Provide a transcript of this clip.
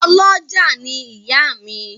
Ọ́lọjá ni ìyá mi